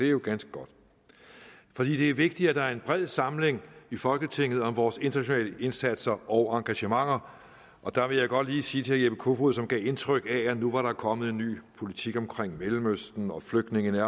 jo ganske godt fordi det er vigtigt at der er en bred samling i folketinget om vores internationale indsatser og engagementer der vil jeg godt lige sige til herre jeppe kofod som gav indtryk af at nu var der kommet en ny politik om mellemøsten og flygtninge